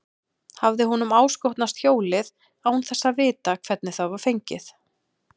Hafði honum áskotnast hjólið án þess að vita hvernig það var fengið?